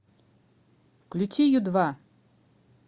включи ю два